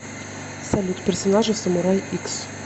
салют персонажи в самурай икс